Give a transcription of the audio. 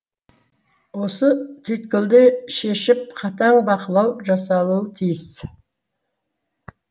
осы түйткілді шешіп қатаң бақылау жасалуы тиіс